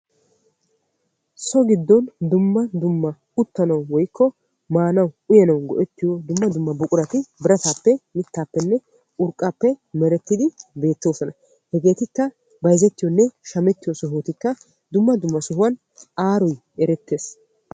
So gidon dumma dumma uttanawu woykko maanawu go'ettiyo buquratti beetosonna. Ettakka qassi bayzziyo sohuwan aaroy ereetees.